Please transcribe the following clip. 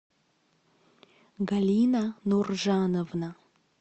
галина нуржановна